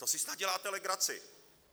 To si snad děláte legraci!